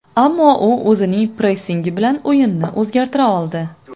Ammo u o‘zining pressingi bilan o‘yinni o‘zgartira oldi.